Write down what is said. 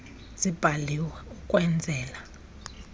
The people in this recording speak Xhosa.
zibhaliwe ukwen zela